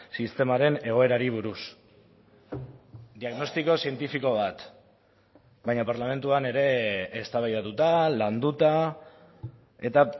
sistemaren egoerari buruz diagnostiko zientifiko bat baina parlamentuan ere eztabaidatuta landuta eta